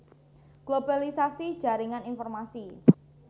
Globalisasi jaringan informasi